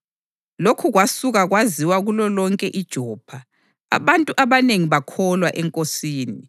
Lokhu kwasuka kwaziwa kulolonke iJopha, abantu abanengi bakholwa eNkosini.